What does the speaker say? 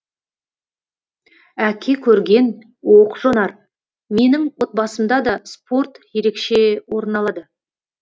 әке көрген оқ жонар менің отбасымда да спорт ерекше орын алады